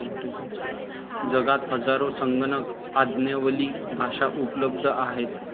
जगात हजारो संगणक आज्ञावली भाषा उपलब्ध आहेत.